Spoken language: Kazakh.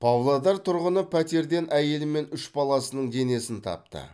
павлодар тұрғыны пәтерден әйелі мен үш баласының денесін тапты